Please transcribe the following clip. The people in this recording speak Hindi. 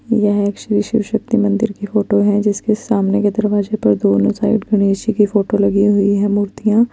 यह एक शिव शक्ति की मंदिर की फोटो है जिसकी सामने गद्र्वाईस पर दोनों साइट गणेश जी की फोटो लगी हुई है मुर्तिया--